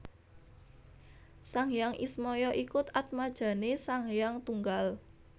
Sang Hyang Ismaya iku atmajane Sang Hyang Tunggal